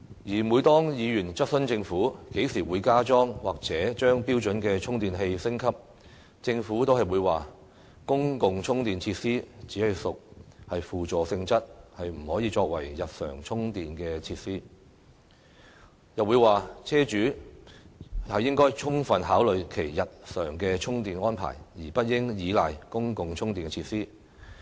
而每當議員質詢政府，何時會加裝或將標準充電器升級，政府就會說"公共充電設施只屬輔助性質，不可以作為日常充電設施"，又說"車主應該充分考慮其日常充電安排，而不應依賴公共充電設施。